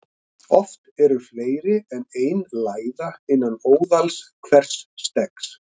Oft eru fleiri en ein læða innan óðals hvers steggs.